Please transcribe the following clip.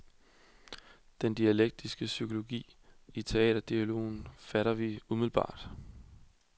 Den dialektiske psykologi i teaterdialogen fatter vi umiddelbart.